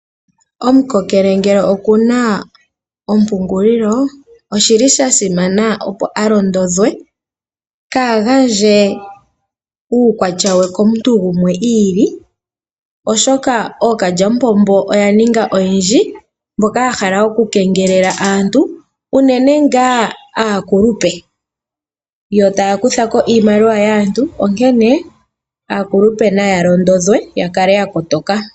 Omukokele ngele oku na ompungulilo osha simana, opo a londodhwe kaa gandje uuyelele we wombaanga komuntu gumwe i ili, oshoka ookalyamupombo oya ninga oyendji mboka ya hala okukengelela aantu unene ngaa aakulupe, yo taya kutha ko iimaliwa yaantu. Aakulupe naya londodhwe ya kale ya koto ka.